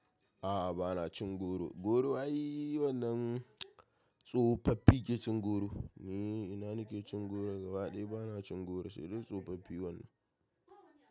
A'a bana cin goro. Goro wai wannan tsofaffi ke cin goro. Ni ina nake cin goro gaba ɗaya bana cin goro, sai dai tsofaffi wannan.